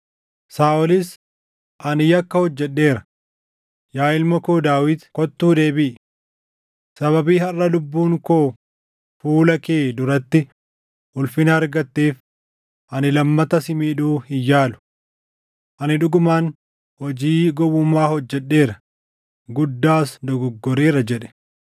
Saaʼolis, “Ani yakka hojjedheera. Yaa ilma koo Daawit kottuu deebiʼi. Sababii harʼa lubbuun koo fuula kee duratti ulfina argatteef ani lammata si miidhuu hin yaalu. Ani dhugumaan hojii gowwummaa hojjedheera; guddaas dogoggoreera jedhe.”